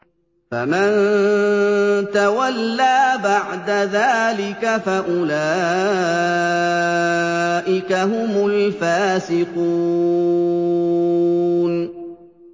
فَمَن تَوَلَّىٰ بَعْدَ ذَٰلِكَ فَأُولَٰئِكَ هُمُ الْفَاسِقُونَ